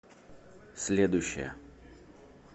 следующая